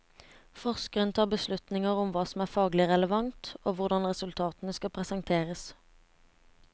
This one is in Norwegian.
Forskeren tar beslutninger om hva som er faglig relevant, og hvordan resultatene skal presenteres.